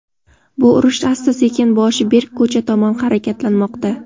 Bu urush asta-sekin boshi berk ko‘cha tomon harakatlanmoqda.